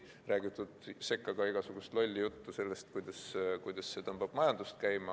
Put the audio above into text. On räägitud sekka ka igasugust lolli juttu sellest, kuidas see tõmbab majandust käima.